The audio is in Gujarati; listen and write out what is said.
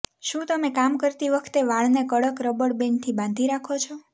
શું તમે કામ કરતી વખતે વાળને કડક રબર બેંડથી બાંધી રાખો છો